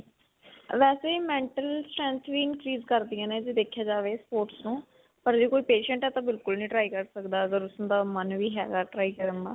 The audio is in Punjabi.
ਵੈਸੇ mental strength ਵੀ increase ਕਰਦੀਆਂ ਨੇ. ਜੇ ਦੇਖਿਆ ਜਾਵੇ sports ਨੂੰ ਪਰ ਜੇ ਕੋਈ patient ਹੈ ਤਾਂ ਬਿਲਕੁਲ ਨਹੀਂ try ਕਰ ਸਕਦਾ ਅਗਰ ਉਸਦਾ ਮਨ ਵੀ ਹੈਗਾ ਹੈਗਾ try ਕਰਨ ਦਾ.